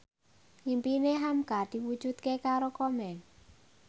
impine hamka diwujudke karo Komeng